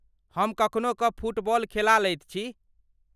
हम कखनो कऽ फुटबॉल खेला लैत छी?